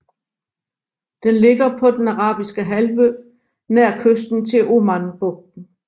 Den ligger på Den Arabiske Halvø nær kysten til Omanbugten